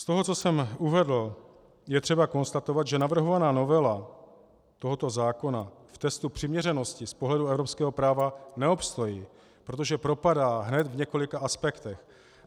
Z toho, co jsem uvedl, je třeba konstatovat, že navrhovaná novela tohoto zákona v testu přiměřenosti z pohledu evropského práva neobstojí, protože propadá hned v několika aspektech.